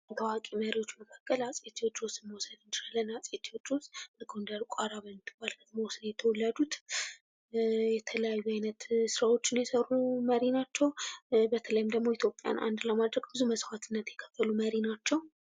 ከታዋቂ መሪዎች መካከል አጼ ቴዎድሮስን መውሰድ እንችላለን። አጼ ቴዎድሮስ ጎንደር ቋራ ውስጥ ነው የተወለዱት። የተለያዩ ዓይነት ሰዎችን የሰሩ መሪ ናቸው። በተለይም ደግሞ ኢትዮጵያን አንድ ለማድረግ ብዙ መስዋዕትነት የከፈሉ መሪ ናቸው።